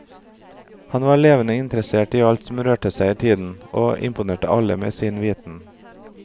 Han var levende interessert i alt som rørte seg i tiden, og imponerte alle med sin viten.